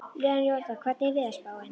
Leonhard, hvernig er veðurspáin?